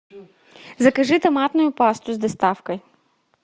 закажи томатную пасту с доставкой